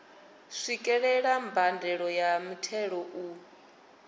swikelela mbadelo ya muthelo u